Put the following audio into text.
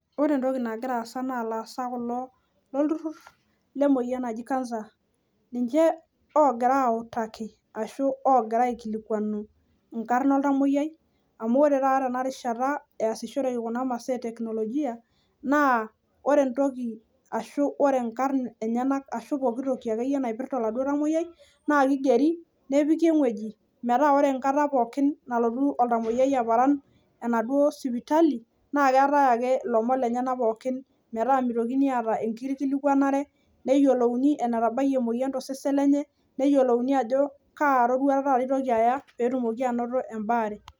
Ore entoki nagira aasa naa ilaasak kulo lolturrurr lemoyian naji cancer. Ninche oogira aautaki ashu oogira aikilikwanu inkarn oltamwoyiai amu ore taata tenarishata eesishore kuna masaa e teknolojia naa ore entoki ashu ore nkaik enyenak ashu ore pooki toki napirta akeyie duo oladuo tamwoyiai naa kigeri nepiki ewueji metaa ore enkata pookin nalotu oltamwoyiai aparan enaduo sipitali naa keetae ake ilomon lenyenak pookin metaa mitokini aata enkikilikwanare, neyiolouni enetabayie emoyian tosesen lenye, neyiolouni ajo kaa rorwata eitoki aya peetumoki ainoto embaare